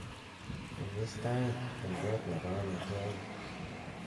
imis tait en koot nepo omitwogik